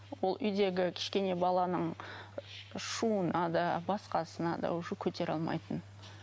ол үйдегі кішкене баланың шуына да басқасына да уже көтере алмайтын